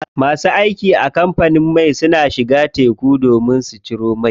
Masu aiki a kamfanin mai na shiga teku su haƙo mai.